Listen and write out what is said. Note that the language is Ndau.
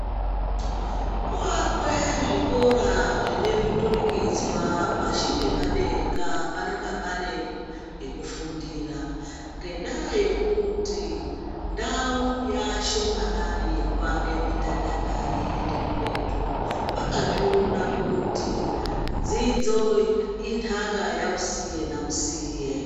Kwoakwe zvikora zvine miturikidzwa, pashi nepadenga panenga pane pekufundira, ngendaa yekuti ndau yaashomanani yekuake midhadhadha yeiende kuretu. Vakazviona kuti dzidzo intaka yausiye nausiye.